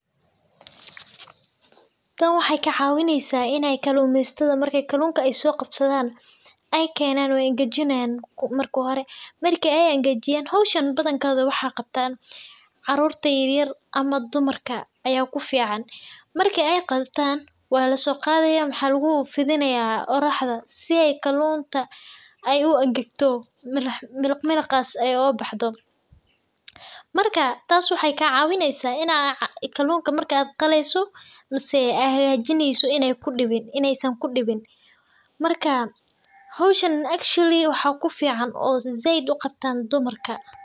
Tan waxee ka cawisa in ee kalumesatadha kalunka marki ee so ibsadan ee kenan wey angajinayan hoshan badi maxaa qatan carurta yar yar tas waxee ka cawineysa marku aa qaleyso in ee kudibin marka hoshan said waxaa u qabtaa dumarka said waliba waa arin muhiim u ah bulshaada daxdedha.